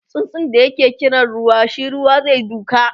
tsutsun da ya kira ruwa shi Ruwa zai duka